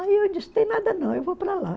Aí eu disse, tem nada não, eu vou para lá.